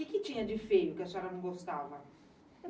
O que tinha de feio que a senhora não gostava?